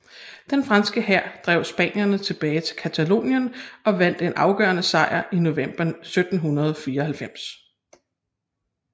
Den franske hær drev spanierne tilbage til Catalonien og vandt en afgørende sejr i november 1794